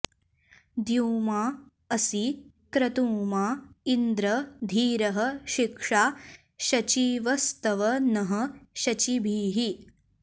द्यु॒माँ अ॑सि॒ क्रतु॑माँ इन्द्र॒ धीरः॒ शिक्षा॑ शचीव॒स्तव॑ नः॒ शची॑भिः